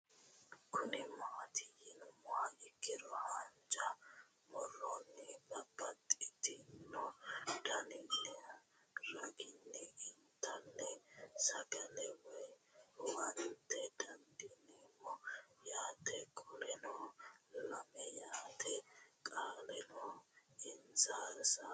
Kuni mati yinumoha ikiro hanja muroni babaxino daninina ragini intani sagale woyi huwata dandinemo yaate qoleno lame yaate qoleno insa hasawani xagete